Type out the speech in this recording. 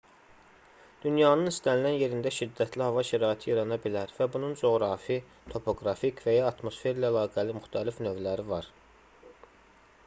dünyanın istənilən yerində şiddətli hava şəraiti yarana bilər və bunun coğrafi topoqrafik və ya atmosferlə əlaqəli müxtəlif növləri var